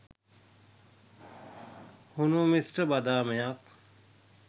හුණු මිශ්‍ර බදාමයක්